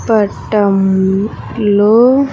పటం లో.